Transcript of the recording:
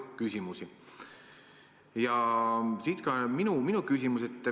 Siit ka minu küsimus.